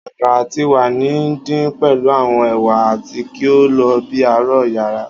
Akara ti wa ni ndin pẹlu awọn ewa ati ki o lo bi aro yara